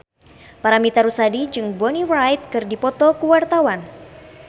Paramitha Rusady jeung Bonnie Wright keur dipoto ku wartawan